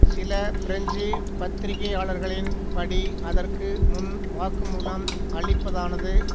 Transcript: சில பிரெஞ்சு பத்திரிக்கையாளர்களின் படி அதற்கு முன் வாக்குமூலம் அளிப்பதானது